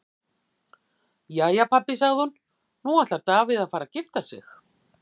Jæja pabbi, sagði hún, nú ætlar Davíð að fara að gifta sig.